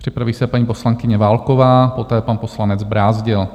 Připraví se paní poslankyně Válková, poté pan poslanec Brázdil.